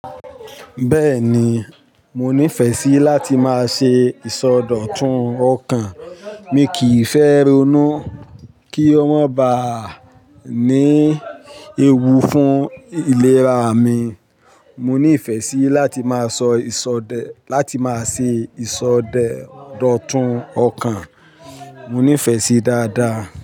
Bẹ́ẹ̀ni, mo nífẹ̀ẹ́ sí láti máa ṣe ìsọdọ̀tun ọkàn. Mi kì í fẹ́ ronú kí o máa ba à ní ewu fún ìlera mi. Mo nífẹ̀ẹ́ sí láti máa sọ ìsọdẹ, láti máa ṣe ìsọde-dotun ọkàn. Mo nífẹ̀ẹ́ sí dáadáa.